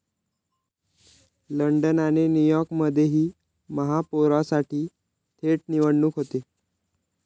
London आणि न्यूयॉर्कमध्येही महापौरासाठी थेट निवडणूक होते.